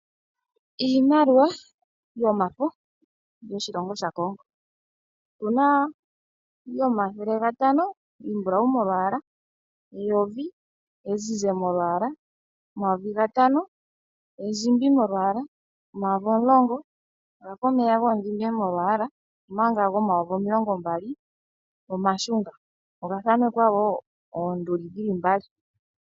Iimaliwa yomafo yoshilongo shaCongo. Otu na yomathele gatano iimbulau molwaala, eyovi ezizi molwaala, omayovi gatano endjimbi molwaala, omayovi omulongo oga fa omeya gamudhime, omanga omayovi omilongombali omashunga. Oga thanekwa wo oonduli dhi li mbali.